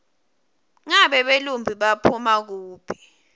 ngabe belumbi baphuma kuphi